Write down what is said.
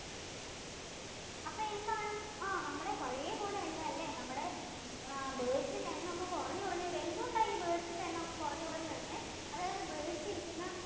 അപ്പൊ എന്താണ് ആഹ് നമ്മുടെ പഴേ പോലെ അല്ല അല്ലേ നമ്മുടെ birds ഇന്‍റെ എണ്ണം ഒക്കെ കുറഞ്ഞ് കുറഞ്ഞ് വരുവാ. എന്ത് കൊണ്ടാണ് അപ്പോ birds ന്‍റെ എണ്ണം ഇങ്ങനെ കുറഞ്ഞ് കുറഞ്ഞ് വരുന്നേ? അതായത് birds ഇരിക്കുന്ന